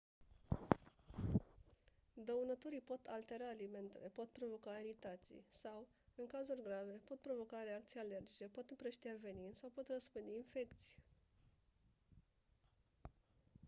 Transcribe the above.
dăunătorii pot altera alimentele pot provoca iritații sau în cazuri grave pot provoca reacții alergice pot împrăștia venin sau pot răspândi infecții